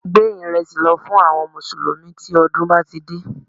Gbé ìrẹsì lọ fún àwọn mùsùlùmí tí ọdún bá ti dé